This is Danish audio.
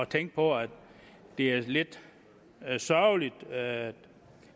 tænke på at det er lidt sørgeligt at